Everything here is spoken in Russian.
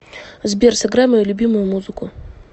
сбер сыграй мою любимую музыку